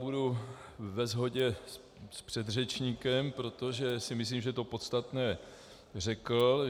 Budu ve shodě s předřečníkem, protože si myslím, že to podstatné řekl.